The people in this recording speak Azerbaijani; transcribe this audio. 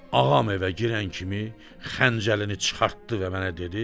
Ağam evə girən kimi xəncəlini çıxartdı və mənə dedi,